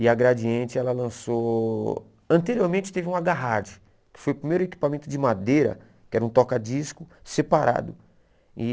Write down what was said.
E a Gradiente ela lançou, anteriormente teve um a Garrad, que foi o primeiro equipamento de madeira, que era um toca-disco separado. E